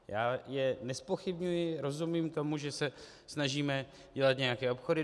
Já je nezpochybňuji, rozumím tomu, že se snažíme dělat nějaké obchody.